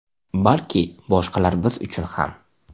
Balki boshqalar biz uchun ham.